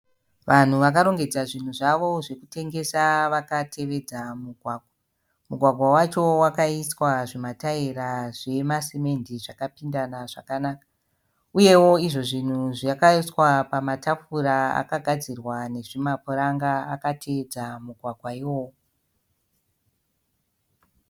Vanhu vakarongedza zvinhu zvavo zvekutengesa vakatevedza mugwagwa. Mugwagwa wacho wakaiswa zvimataera zvemasemende zvakapindana zvakanaka. Uyewo izvo zvinhu zvakaiswa pamatafura akagadzirwa nezvima puranga akatevedza mugwagwa iwoyo.